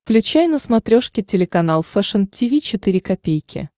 включай на смотрешке телеканал фэшн ти ви четыре ка